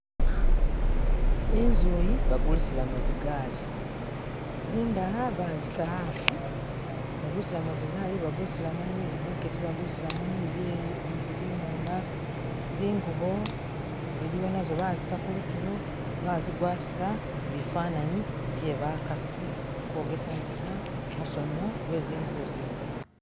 Inzuyi bagulisilamo zigali zindala bazita hasi babusilamo zigali bagulisilamo ni zibaketi bagulisilamo ni bye bisimula zingubo ziliwo nazo bazita kulutulo bazigwatisa bifananyi bye bakasi kogesanisa musono gwezingubo zene